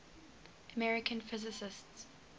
american physicists